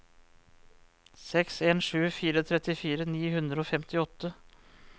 seks en sju fire trettifire ni hundre og femtiåtte